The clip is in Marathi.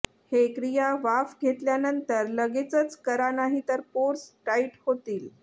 हे क्रिया वाफ घेतल्यानंतर लगेचंच करा नाहीतर पोर्स टाईट होतील